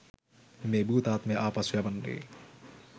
මේ භූතාත්මය ආපසු යවන්නේ?